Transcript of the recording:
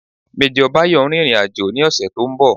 Major Bayo ń rìnrìn àjò ní ọ̀sẹ̀ to ń bọ̀